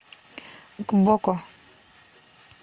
гбоко